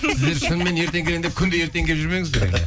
сіздер шынымен ертең келемін деп күнде ертең келіп жүрмеңіздер